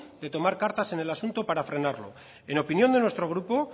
de tomar cartas en el asunto para frenarlo en opinión de nuestro grupo